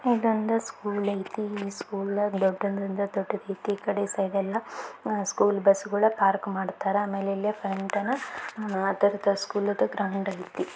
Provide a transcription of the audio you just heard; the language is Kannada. ಇದೊಂದ ಸ್ಕೂಲ್ ಐತಿ. ಈ ಸ್ಕೂಲ್ ದೊಡ್ಡದಂದರ ದೊಡ್ದುದೈತಿ. ಇ ಕಡೆ ಸೈಡ್ ಎಲ್ಲಾ ಅಹ್ ಸ್ಕೂಲ್ ಬಸ್ ಗುಳ ಪಾರ್ಕ್ ಮಾಡ್ತಾರ. ಆಮೇಲೆ ಇಲ್ಲೆ ಫ್ರಂಟ್ ಅನ್ನ ಅದರದ ಸ್ಕೂಲ್ ದು ಗ್ರೌಂಡ್ ಐತಿ.